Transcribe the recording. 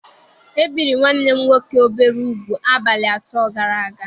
E biri nwanne m nwoke obere ugwu abalị atọ gara aga.